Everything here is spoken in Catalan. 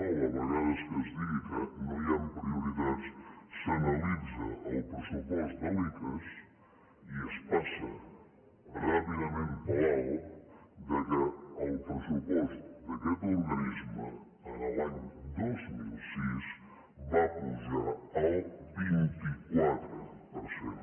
i dol a vegades que es digui que no hi han prioritats el pressupost de l’icass i es passa ràpidament per alt que el pressupost d’aquest organisme l’any dos mil sis va pujar el vint quatre per cent